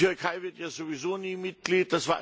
Die Türkei wird ja sowieso nie Mitglied.